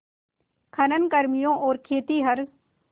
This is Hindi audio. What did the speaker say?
खनन कर्मियों और खेतिहर